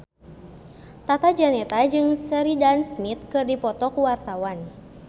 Tata Janeta jeung Sheridan Smith keur dipoto ku wartawan